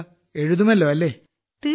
എന്താ എഴുതുമല്ലോ അല്ലേ